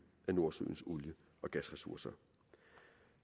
af nordsøens olie og gasressourcer